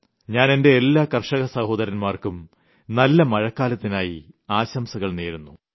ഞാൻ എന്റെ എല്ലാ കർഷക സഹോദരൻമാർക്കും നല്ല മഴക്കാലത്തിനായി ആശംസകൾ നേരുന്നു